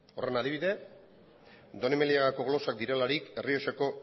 horren adibide donemiliagako glosak direlarik errioxako